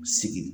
Sigi